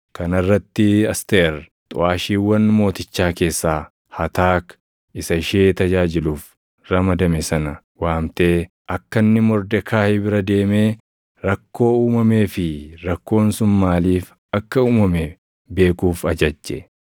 Kana irratti Asteer xuʼaashiiwwan mootichaa keessaa Hataak isa ishee tajaajiluuf ramadame sana waamtee akka inni Mordekaayi bira deemee, rakkoo uumamee fi rakkoon sun maaliif akka uumame beekuuf ajajje.